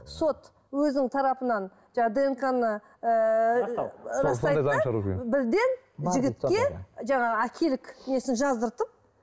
сот өзінің тарапынан жаңағы днк ны ыыы растау растайды да бірден жігітке жаңағы әкелік несін жаздыртып